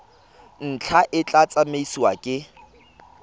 ntlha e tla tsamaisiwa ke